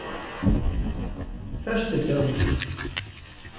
föstudögum